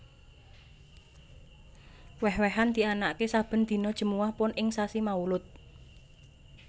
Wèh wèhan dianakaké saben dina Jemuwah Pon ing sasi Maulud